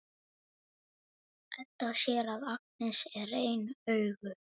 Edda sér að Agnes er ein augu.